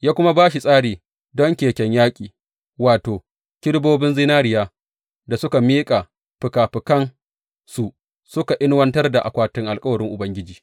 Ya kuma ba shi tsari don keken yaƙi, wato, kerubobin zinariyar da suka miƙe fikafikansu suka inuwantar da akwatin alkawarin Ubangiji.